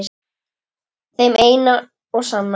Þeim eina og sanna?